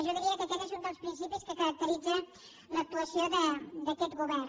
jo diria que aquest és un dels principis que caracteritza l’actuació d’aquest govern